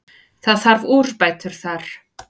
Það þarf úrbætur þar.